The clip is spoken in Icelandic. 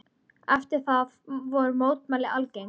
Eftir það voru mótmæli algeng.